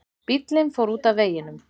Bíllinn fór út af veginum